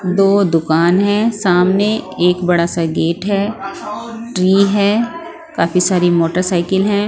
दो दुकान है सामने एक बड़ा सा गेट है ट्री है काफी सारी मोटरसाइकिल हैं।